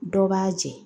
Dɔ b'a jɛ